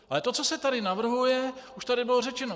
Ale to, co se tady navrhuje - už tady bylo řečeno.